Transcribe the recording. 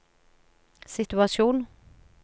situasjon